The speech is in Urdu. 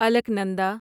الکنندا